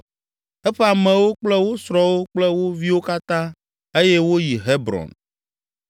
eƒe amewo kple wo srɔ̃wo kple wo viwo katã eye woyi Hebron.